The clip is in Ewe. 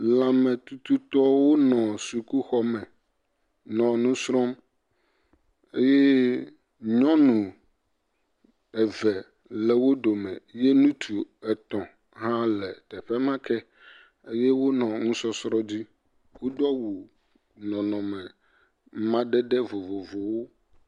Lãmetututɔwo nɔ sukuxɔme nɔ nu srɔ̃m ye nyɔnu eve le wo dome ye ŋutsu etɔ̃ hã le teƒe ma ke eye wonɔ nusɔsrɔ̃ dzi. Wodo awu nɔnɔme madede vovovowo.